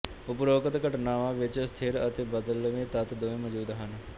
ਉਪਰੋਕਤ ਘਟਨਾਵਾਂ ਵਿਚ ਸਥਿਰ ਅਤੇ ਬਦਲਵੇਂ ਤੱਤ ਦੋਵੇਂ ਮੌਜੂਦ ਹਨ